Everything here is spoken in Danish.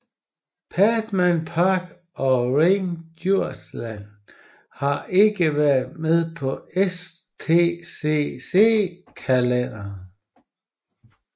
Padborg Park og Ring Djursland har ikke været med på STCC kalenderen